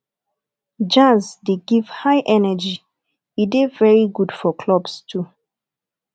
jazz de give high energy e de very good for clubs too